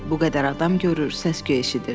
Bu qədər adam görür, səs-küy eşidirdi.